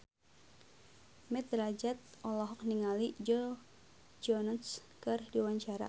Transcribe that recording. Mat Drajat olohok ningali Joe Jonas keur diwawancara